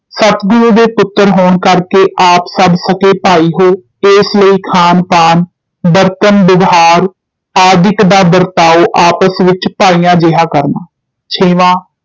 ਸਤਿਗੁਰੂ ਦੇ ਪੁੱਤ੍ਰ ਹੋਣ ਕਰਕੇ ਆਪ ਸਭ ਸਕੇ ਭਾਈ ਹੈ ਏਸ ਲਈ ਖਾਨ, ਪਾਨ, ਬਰਤਨ ਬਿਵਹਾਰ ਆਦਿਕ ਦਾ ਬਰਤਾਉ ਆਪਸ ਵਿਚ ਭਾਈਆਂ ਜੇਹਾ ਕਰਨਾ ਛੇਵਾਂ